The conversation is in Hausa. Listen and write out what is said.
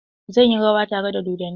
Zan yi rawa tare da dodonni.